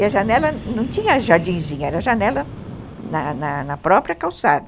E a janela não tinha jardinzinho, era janela na na na própria calçada.